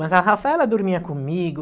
Mas a Rafaela dormia comigo.